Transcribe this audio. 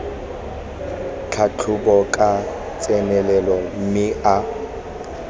tlhatlhoba ka tsenelelo mme a